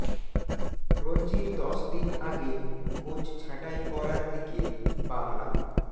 রঞ্জির দশ দিন আগে কোচ ছাঁটাই করার দিকে বাংলা